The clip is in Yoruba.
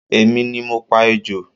Èmi ni mo pa ejò